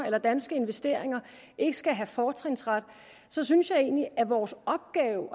at danske investeringer ikke skal have fortrinsret synes jeg egentlig at vores opgave